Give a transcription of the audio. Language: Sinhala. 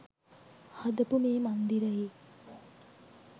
හදපු මේ මන්දිරයේ